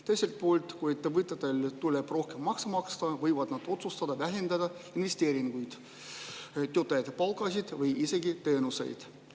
Teiselt poolt, kui ettevõtetel tuleb rohkem makse maksta, võivad nad otsustada vähendada investeeringuid, töötajate palka või isegi teenuseid.